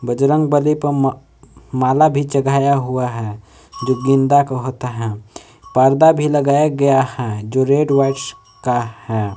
बजरंगबली पे म माला भी चघाया हुआ है जो गेंदा का होता हैं पर्दा भी लगाया गया हैं जो रेड व्हाइट का है।